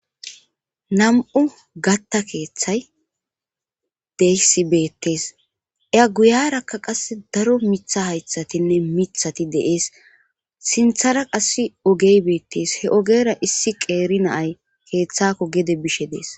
Nam'u gatta keeththay deysi beettees eya guyarakka qase daro mitha haythatinne mithati deees sinthara qass ogey beettees he ogera issi qeeri naay keeththakko gede bishe dees.